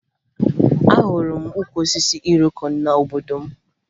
Ahụrụ m ukwu osisi iroko n'obodo m